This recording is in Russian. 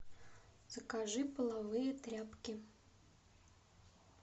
закажи половые тряпки